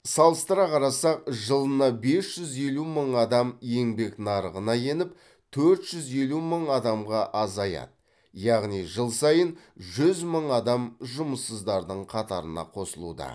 салыстыра қарасақ жылына бес жүз елу мың адам еңбек нарығына еніп төрт жүз елу мың адамға азаяды яғни жыл сайын жүз мың адам жұмыссыздардың қатарына қосылуда